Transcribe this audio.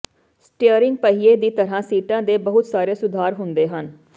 steering ਪਹੀਏ ਦੀ ਤਰ੍ਹਾਂ ਸੀਟਾਂ ਦੇ ਬਹੁਤ ਸਾਰੇ ਸੁਧਾਰ ਹੁੰਦੇ ਹਨ